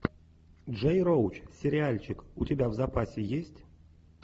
джей роуч сериальчик у тебя в запасе есть